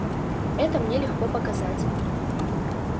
это мне легко показать